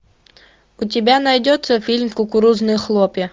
у тебя найдется фильм кукурузные хлопья